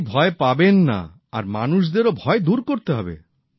আপনি ভয় পাবেন না আর মানুষেরও ভয় দূর করতে হবে